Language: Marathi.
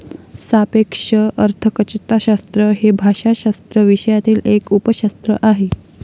सापेक्ष अर्थकचताशास्त्र हे भाषाशास्त्र विषयातील एक उपशास्त्र आहे.